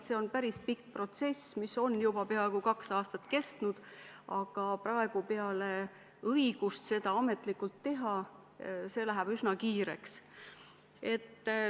See on päris pikk protsess, mis on juba peaaegu kaks aastat kestnud, aga praegu, kui tekib õigus seda ametlikult teha, läheb üsna kiireks.